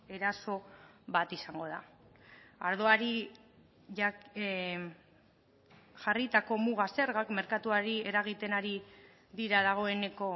eraso bat izango da ardoari jarritako muga zergak merkatuari eragiten ari dira dagoeneko